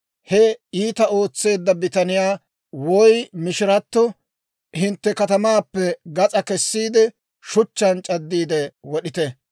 he iitaa ootseedda bitaniyaa woy mishirato hintte katamaappe gas'aa kessiide, shuchchaan c'addiide wod'ite.